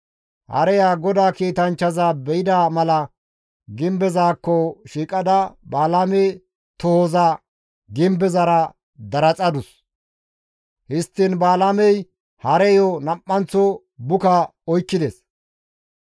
Hareya GODAA kiitanchchaza be7ida mala gimbezaakko shiiqada Balaame tohoza gimbezara daraxadus; histtiin Balaamey hareyo nam7anththo buka oykkides.